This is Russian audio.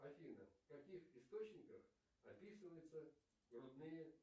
афина в каких источниках описываются грудные